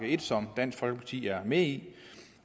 en som dansk folkeparti er med i